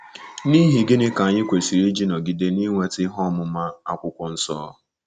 N’ihi gịnị ka anyị kwesịrị iji nọgide na-inweta ihe ọmụma Akwụkwọ Nsọ?